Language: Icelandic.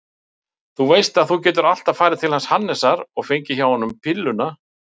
Þú veist að þú getur alltaf farið til hans Hannesar og fengið hjá honum pilluna.